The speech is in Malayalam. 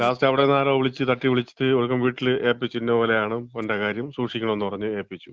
ലാസ്റ്റ് അവ്ട്ന്ന് ആരോ വിളിച്ച്, തട്ടി വിളിച്ച് ഒടുക്കം വീട്ടില് ഏപ്പിച്ച്. ഇന്നപോലെയാണ് അവന്‍റെ കാര്യം സൂക്ഷിക്കണം എന്ന് പറഞ്ഞ് ഏൽപ്പിച്ചു.